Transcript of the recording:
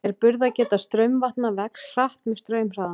En burðargeta straumvatna vex hratt með straumhraðanum.